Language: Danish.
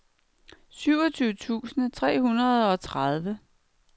syvogtyve tusind seks hundrede og tredive